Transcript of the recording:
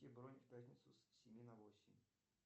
бронь в пятницу с семи на восемь